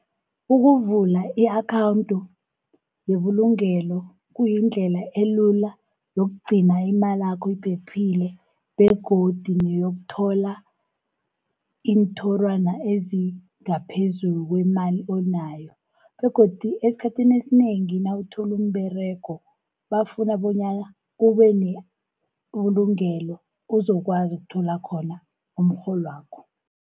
Ukuvula i-akhawunthi yebulugelo kuyindlela elula yokugcina imalakho iphephile, begodu neyokuthola iinthorwana ezingaphezulu kwemali onayo. Begodu esikhathini esinengi nawuthola umberego, bafuna bonyana kube nebulungelo uzokwazi ukuthola khona umrholwakho.